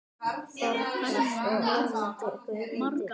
Þorgils og Ámundi Guðni.